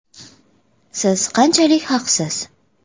Siz qanchalik haqsiz?